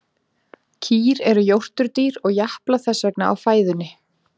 Kýr eru jórturdýr og japla þess vegna á fæðunni.